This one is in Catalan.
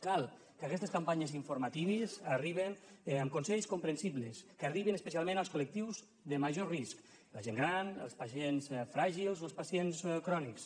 cal que aquestes campanyes informatives arriben amb consells comprensibles que arribin especialment als col·lectius de major risc la gent gran els pacients fràgils o els pacients crònics